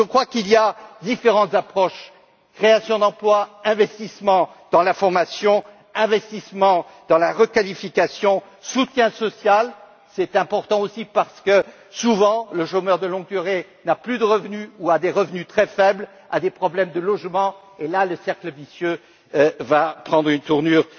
Donc, je crois qu'il y a différentes approches création d'emplois, investissements dans la formation, investissements dans la requalification, soutien social c'est important aussi parce que, souvent, le chômeur de longue durée n'a plus de revenus ou a des revenus très faibles, a des problèmes de logement, et là, le cercle vicieux va prendre une tournure